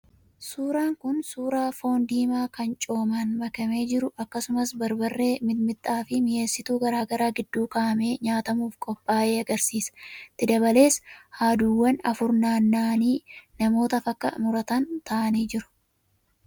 Suuraan kun suuraa foon diimaa kan coomaan makamee jiru akkasumas barbarree, mixmixaa fi mi'eessituu garaagaraa gidduu kaa'amee nyaatamuuf ophaay'e agarsiisa. Itti dabalees haaduuwwan afur naanna'anii namootaaf akka muratan taa'anii jiru.